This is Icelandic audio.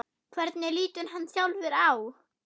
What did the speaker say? Hvernig lítur hann sjálfur á?